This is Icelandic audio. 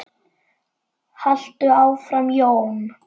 Haltu áfram Jón!